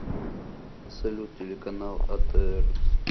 салют телеканал а тэ эр